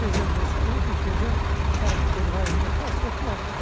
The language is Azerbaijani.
Çox gözəl insan idi, gözəl xarakteri var idi, xasiyyəti var idi.